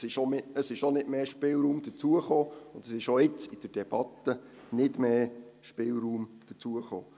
Es ist auch nicht mehr Spielraum hinzugekommen, und es ist auch jetzt in der Debatte nicht mehr Spielraum hinzugekommen.